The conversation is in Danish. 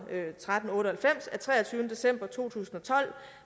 tretten otte og halvfems af treogtyvende december to tusind og tolv